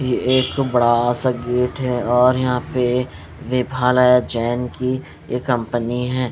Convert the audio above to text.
ये एक बड़ा सा गेट है और यहां पे नेभालया जैन की ये कंपनी है।